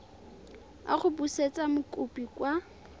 a go busetsa mokopi kwa